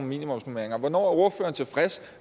minimumsnormeringer hvornår er ordføreren tilfreds